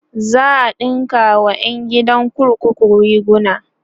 za'a ɗinka wa ƴan gidan kurkuku riguna